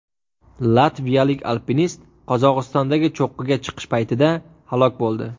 Latviyalik alpinist Qozog‘istondagi cho‘qqiga chiqish paytida halok bo‘ldi.